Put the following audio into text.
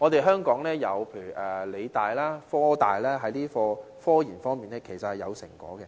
香港的理工大學和科技大學，在科研方面都有成果。